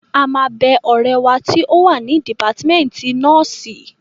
A máa bẹ ọ̀rẹ́ wa tí ó wà ní dìpátímẹ́ǹtì nọ́ọ̀sì